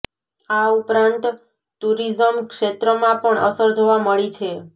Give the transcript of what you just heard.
આ ઉપરાંત ટૂરિઝમ ક્ષેત્રમાં પણ અસર જોવા મળી છે